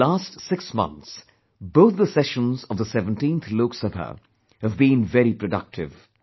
In the last 6 months, both the sessions of the 17th Lok Sabha have been very productive